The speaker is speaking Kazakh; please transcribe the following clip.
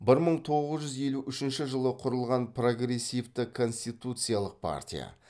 бір мың тоғыз жүз елу үшінші жылы құрылған прогрессивті конституциялық партия